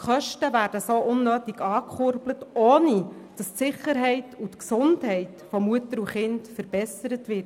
Die Kosten werden so unnötig angekurbelt, ohne dass Sicherheit und Gesundheit von Mutter und Kind verbessert werden.